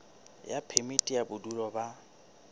ya phemiti ya bodulo ba